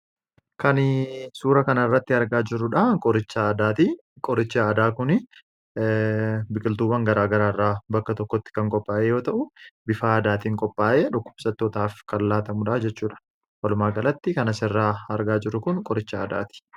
Kan suura kana irratti argaa jirru, qoricha aadaati. Qorichi aadaa Kun biqiltuuwwan garaagaraa irraa bakka tokkotti kan qophaa'e yoo ta'u, bifa aadaatiin qophaa'e dhukkubsattootaaf kan laatamu jechuudha. Walumaa galatti kan asirraa argaa jirru Kun qoricha aadaati.